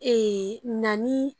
Ee na ni